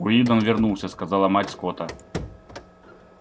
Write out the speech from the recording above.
уидон вернулся сказала мать скотта